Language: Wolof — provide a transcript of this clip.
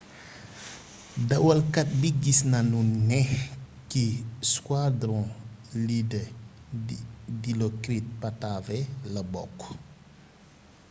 dawalkat bi gis nanu ne ci squadron leader dilokrit pattavee la bokk